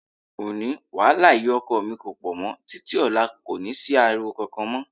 Òní, wàhálà ìyá ọkọ mi kò pọ̀ mọ́, títí ọ̀la kò ní sí ariwo kankan mọ́.